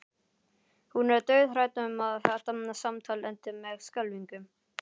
Hún er dauðhrædd um að þetta samtal endi með skelfingu.